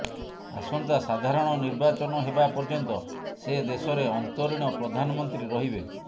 ଆସନ୍ତା ସାଧାରଣ ନିର୍ବାଚନ ହେବା ପର୍ଯ୍ୟନ୍ତ ସେ ଦେଶରେ ଅନ୍ତରୀଣ ପ୍ରଧାନମନ୍ତ୍ରୀ ରହିବେ